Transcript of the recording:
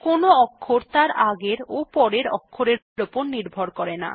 কোনো অক্ষর তার আগের এবং পরের অক্ষরের উপর নির্ভর করে না